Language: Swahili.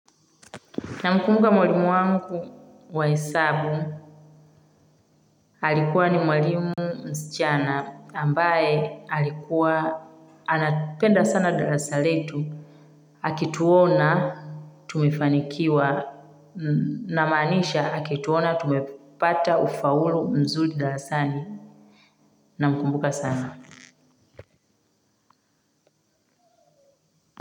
Namkumbuka mwalimu wangu wa hesabu. Alikuwa ni mwalimu msichana ambaye alikuwa anapenda sana darasa letu. Akituona tumefanikiwa namaanisha akituona tumepata ufaulu mzuli darasani. Na mkumbuka sana.